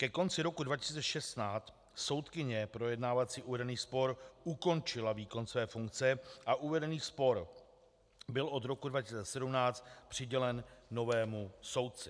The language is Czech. Ke konci roku 2016 soudkyně projednávající uvedený spor ukončila výkon své funkce a uvedený spor byl od roku 2017 přidělen novému soudci.